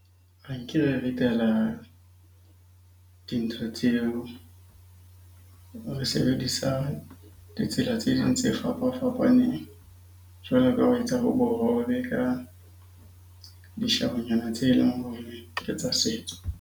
Nke re ritela dintho tseo. Re sebedisa ditsela tse ding tse fapafapaneng jwalo ka ho etsa bohobe, ka dishabo nyana tse leng hore ke tsa setso.